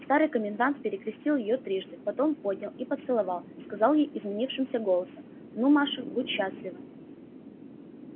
старый комендант перекрестил её трижды потом поднял и поцеловав сказал ей изменившимся голосом ну маша будь счастлива